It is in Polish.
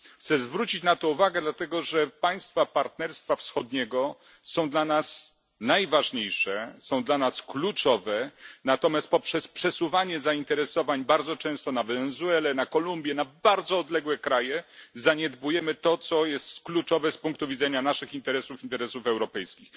Chcę zwrócić na to uwagę, dlatego że państwa Partnerstwa Wschodniego są dla nas najważniejsze, są dla nas kluczowe, natomiast poprzez przesuwanie zainteresowań bardzo często na Wenezuelę, na Kolumbię, na bardzo odległe kraje, zaniedbujemy to, co jest kluczowe z punktu widzenia naszych interesów, interesów europejskich.